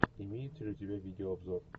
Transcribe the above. имеется ли у тебя видеообзор